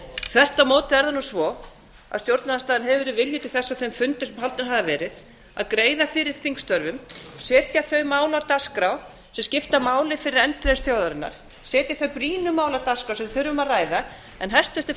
þvert á móti er það nú svo að stjórnarandstaðan hefur verið viljug til þess á þeim fundum sem haldnir hafa verið að greiða fyrir þingstörfum setja þau mál á dagskrá sem skipta máli fyrir endurreisn þjóðarinnar setja þau brýnu mál á dagskrá sem við þurfum að ræða en hæstvirtur